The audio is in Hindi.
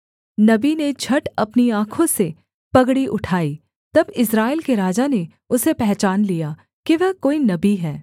नबी ने झट अपनी आँखों से पगड़ी उठाई तब इस्राएल के राजा ने उसे पहचान लिया कि वह कोई नबी है